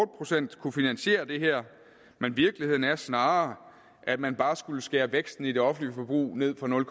procent kunne finansiere det her men virkeligheden er snarere at man bare skulle skære væksten i det offentlige forbrug ned fra nul